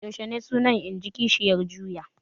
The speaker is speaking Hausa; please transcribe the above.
Yaushe suna? in ji kishiyar juya.